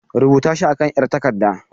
Rubuta shi a kan 'yar takarda.